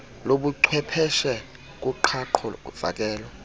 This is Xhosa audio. lobuchwepheshe kuqhaqho fakelo